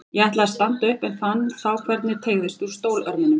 Ég ætlaði að standa upp en fann þá hvernig teygðist úr stólörmunum.